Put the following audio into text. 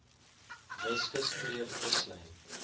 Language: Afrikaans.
weskus kreef kuslyn